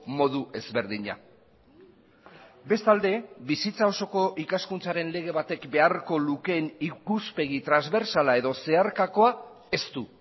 modu ezberdina bestalde bizitza osoko ikaskuntzaren lege batek beharko lukeen ikuspegi transbertsala edo zeharkakoa ez du